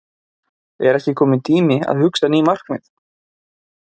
En er ekki kominn tími á að hugsa ný markmið?